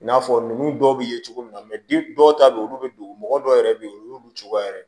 I n'a fɔ ninnu dɔw bɛ ye cogo min na dɔw ta bɛ yen olu bɛ dugu mɔgɔ dɔw yɛrɛ bɛ yen olu bɛ cogoya wɛrɛ